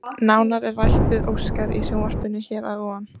Nánar er rætt við Óskar í sjónvarpinu hér að ofan.